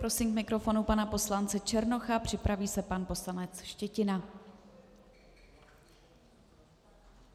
Prosím k mikrofonu pana poslance Černocha, připraví se pan poslanec Štětina.